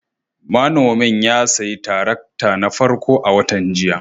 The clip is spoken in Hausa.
Manomin ya sayi tarakta na farko a watan jiya